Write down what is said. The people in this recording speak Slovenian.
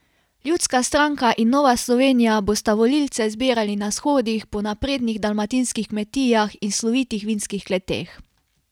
Ljudska stranka in Nova Slovenija bosta volilce zbirali na shodih po naprednih dalmatinskih kmetijah in slovitih vinskih kleteh.